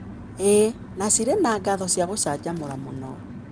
ĩĩ, na cirĩ na ng'ano cia gũcanjamũra mũno.